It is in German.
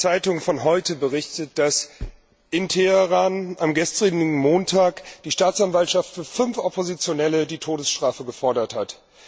Die Süddeutsche Zeitung von heute berichtet, dass in Teheran am gestrigen Montag die Staatsanwaltschaft für fünf Oppositionelle die Todesstrafe gefordert hat.